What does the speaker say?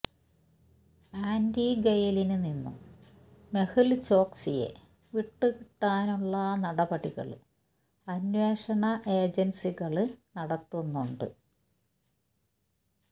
ആന്റിഗ്വയില് നിന്നും മെഹുല്ചോക്സിയെ വിട്ടു കിട്ടാനുള്ള നടപടികള് അന്വേഷണ ഏജന്സികള് നടത്തുന്നുണ്ട്